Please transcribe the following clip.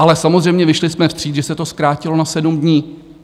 Ale samozřejmě vyšli jsme vstříc, že se to zkrátilo na sedm dní.